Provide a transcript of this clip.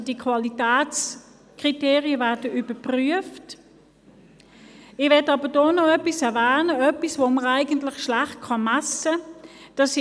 Ich möchte aber hier noch etwas erwähnen, das man schlecht messen kann: